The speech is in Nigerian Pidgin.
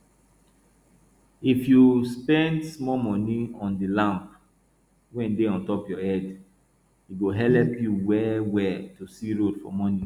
if you spend small money on the lamp wey dey on top your head e go helep you well well to see road for morning